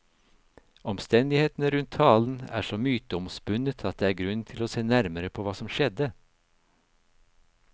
Omstendighetene rundt talen er så myteomspunnet at det er grunn til å se nærmere på hva som skjedde.